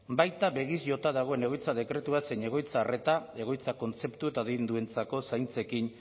baita begiz jota dagoen egoitza dekretua zein egoitza arreta egoitza kontzeptu eta adinduentzako zaintzekin